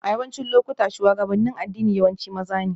A yawancin lokuta, shugabannin addini yawanci maza ne